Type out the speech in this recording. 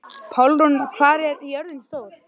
Pálrún, hvað er jörðin stór?